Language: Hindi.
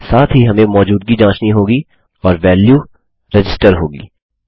साथ ही हमें मौजूदगी जाँचनी होगी और वैल्यू रजिस्टर होगी